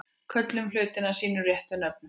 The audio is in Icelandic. Köllum hlutina sínum réttu nöfnum.